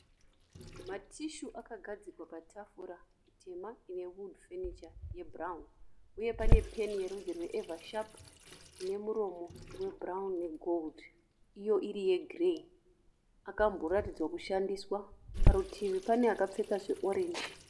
Matishu akakadzikwa patafura tema ine wudhu fenicha yebhurauni uye pane peni yerudzi rwe evhashapu ine muromo webhurauni negoridhe iyo iri yegireyi. Akamboratidzwa kushandiswa. Parutivi pane akapfeka zveorenji.